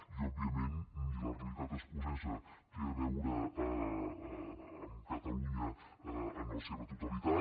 i òbviament ni la realitat escocesa té a veure amb catalunya en la seva totalitat